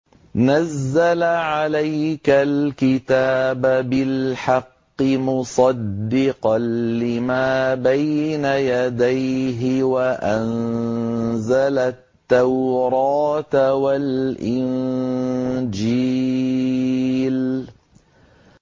نَزَّلَ عَلَيْكَ الْكِتَابَ بِالْحَقِّ مُصَدِّقًا لِّمَا بَيْنَ يَدَيْهِ وَأَنزَلَ التَّوْرَاةَ وَالْإِنجِيلَ